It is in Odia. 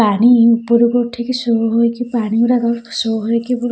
ପାଣି ଉପରକୁ ଉଠିକି ଶୋ ହୋଇଛି ପାଣିଗୁରାକ ଶୋ ହୋଇକି ପୁରା --